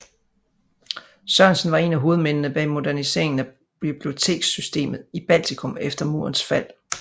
Sørensen var en af hovedmændene bag moderniseringen af biblioteksystemet i Baltikum efter murens fald